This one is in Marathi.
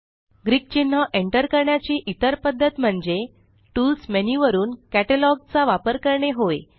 ग्रीक चिन्ह एंटर करण्याची इतर पद्धत म्हणजे टूल्स मेन्यू वरुन कॅटलॉग चा वापर करणे होय